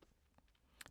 DR2